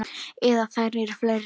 Eða eru þær fleiri?